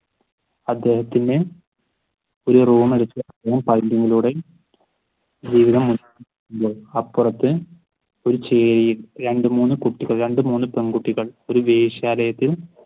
അദ്ദേഹത്തിന് ഒരു റൂം എടുത്ത് അപ്പുറത്ത് ഒരു രണ്ടു മൂന്ന് കുട്ടികൾ രണ്ടു മൂന്ന് പെണ്കുട്ടികൾ ഒരു വേശ്യാലയത്തിൽ